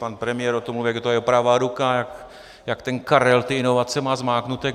Pan premiér o něm mluví, jak je to jeho pravá ruka, jak ten Karel ty inovace má zmáknuté.